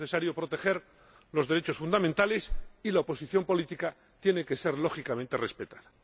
Es necesario proteger los derechos fundamentales, y la oposición política tiene que ser lógicamente respetada.